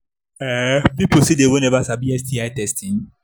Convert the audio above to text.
um people still they we never sabi sti testing